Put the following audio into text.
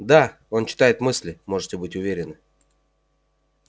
да он читает мысли можете быть уверены